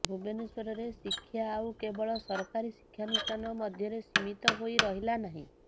ଭୁବନେଶ୍ବରରେ ଶିକ୍ଷା ଆଉ କେବଳ ସରକାରୀ ଶିକ୍ଷାନୁଷ୍ଠାନ ମଧ୍ୟରେ ସୀମିତ ହୋଇ ରହିଲା ନାହିଁ